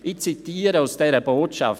Ich zitiere aus dieser Botschaft: